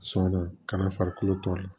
Sɔn na ka na farikolo tɔɔrɔ